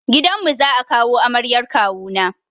Gidan mu za a kawo amaryar kawu na.